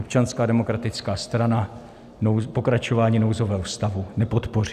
Občanská demokratická strana pokračování nouzového stavu nepodpoří.